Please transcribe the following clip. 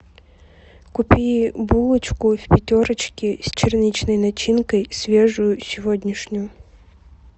купи булочку в пятерочке с черничной начинкой свежую сегодняшнюю